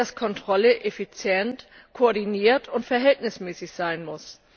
dass Kontrolle effizient, koordiniert und verhältnismäßig sein muss.